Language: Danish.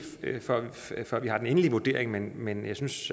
før vi har den endelige vurdering men jeg synes